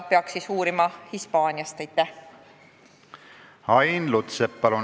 Ain Lutsepp, palun!